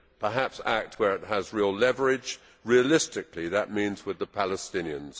Perhaps act where it has real leverage realistically, that means with the Palestinians.